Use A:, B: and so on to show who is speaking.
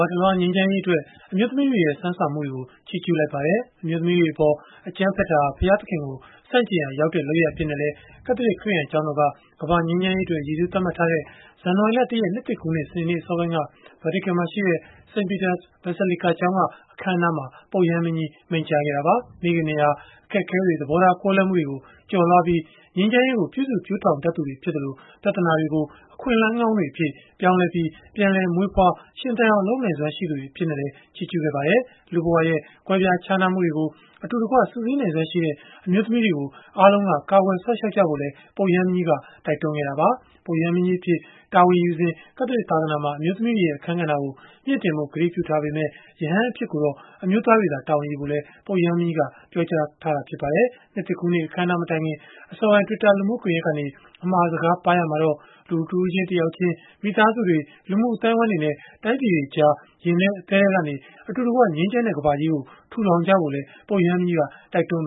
A: ာတလွှား ငြိမ်းချမ်းရေးအတွက် အမျိုးသမီးတွေရဲ့ စွမ်းဆောင်မှုတွေကို ချီးကျူးလိုက်ပါတယ်။ အမျိုးသမီးတွေအပေါ် အကြမ်းဖက်တာဟာ ဘုရားသခင်ကို ဆန့်ကျင်ရာရောက်တဲ့ လုပ်ရပ်အဖြစ်နဲ့လည်း ကက်သလစ် ခရစ်ယာန်ကျောင်းတော်က ကမ္ဘာ့ငြိမ်းချမ်းရေးအတွက် ရည်စူးသတ်မှတ်ထားတဲ့ ဇန်နဝါရီလ ၁ ရက် နှစ်သစ်ကူးနေ့ စနေနေ့ အစောပိုင်းက ဗာတီကန်မှာရှိတဲ့ St. Peter's Basilica ကျောင်းက အခမ်းအနားမှာ ပုပ်ရဟန်းမင်းကြီး မိန့်ကြားခဲ့တာပါ။ မိခင်တွေဟာ အခက်အခဲတွေ၊ သဘောထားကွဲလွဲမှုတွေကို ကျော်လွှားပြီး ငြိမ်းချမ်းရေးကို ပြုစုပျိုးထောင်တတ်သူတွေ ဖြစ်သလို ပြဿနာတွေကို အခွင့်အလမ်း ကောင်းတွေအဖြစ် ပြောင်းလဲပြီး ပြန်လည်မွေးဖွား ရှင်သန်အောင် လုပ်နိုင်စွမ်းရှိသူတွေ အဖြစ်နဲ့လည်း ချီးကျူးခဲ့ပါတယ်။ လူ့ဘဝရဲ့ ကွဲပြားခြားနားမှုတွေကို အတူတကွ စုစည်းနိုင်စွမ်းရှိတဲ့ အမျိုးသမီးတွေကို အားလုံးက ကာကွယ်စောင့်ရှောက်ကြဖို့လည်း ပုပ်ရဟန်းမင်းကြီးက တိုက်တွန်းခဲ့တာပါ။ ပုပ်ရဟန်းမင်းကြီးအဖြစ် တာဝန်ယူစဉ် ကက်သလစ်သာသနာမှာ အမျိုးသမီးတွေရဲ့ အခန်းကဏ္ဍကို မြှင့်တင်ဖို့ ကတိပြုထားပေမယ့် ရဟန်းအဖြစ်ကိုတော့ အမျိုးသားတွေ တာဝန်ယူဖို့လည်း ပုပ်ရဟန်းမင်းကြီးက ပြောကြားထားပါတယ်။ နှစ်သစ်ကူးနေ့ အခမ်းအနားမတိုင်ခင် အစောပိုင်း Twitter လူမှုကွန်ရက်ကနေ အမှာစကား ပါးရာမှာတော့ လူတဦးချင်း တယောက်ချင်း၊ မိသားစုတွေ၊ လူမှုအသိုင်းအဝန်းတွေနဲ့ တိုင်းပြည်တွေကြား ရင်ထဲ အသည်းထဲကနေ အတူတကွ ငြိမ်းချမ်းတဲ့ ကမ္ဘာကြီးကို ထူထောင်ကြဖို့လည်း ပုပ်ရဟန်းမင်းကြီးက တိုက်တွန
B: ်း